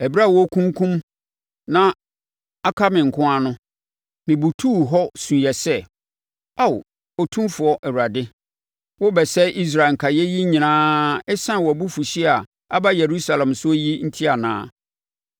Ɛberɛ a wɔrekunkum na aka me nko ara no, mebutuu hɔ suiɛ sɛ, “Aa Otumfoɔ Awurade! Worebɛsɛe Israel nkaeɛfoɔ yi nyinaa ɛsiane wʼabufuhyeɛ a aba Yerusalem soɔ yi enti anaa?”